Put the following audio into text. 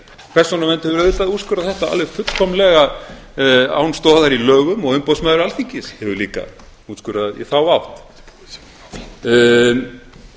persónuvernd hefur auðvitað úrskurðað þetta alveg fullkomlega án stoðar í lögum og umboðsmaður alþingis hefur líka úrskurðað í þá átt það er talað